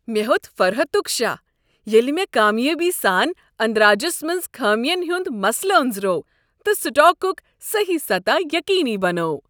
مےٚ ہیوٚت فرحتک شہہ ییٚلہ مےٚ كامیٲبی سان اندراجس منز خٲمِین ہٖند مسلہٕ أنٛزروو تہٕ سٹاکک صحیح سطح ییٚقینی بنوو۔